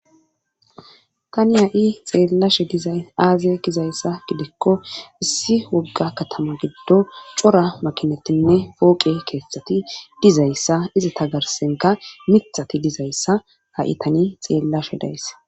tani ha7i xeellashe dizay aaze gizayssa gidikko issi wogga katama giddo cora makinatinne pooqe keeththati dizayssa iza tagarsenka mithati dizayssa ha itani xeellashe days